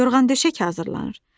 Yorğan döşək hazırlanır.